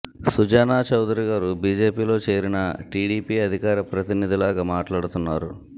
సుజనా చౌదరి గారు బీజేపీలో చేరినా టీడీపీ అధికార ప్రతినిధిలాగా మాట్లాడుతున్నారు